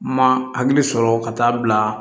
Ma hakili sɔrɔ ka taa bila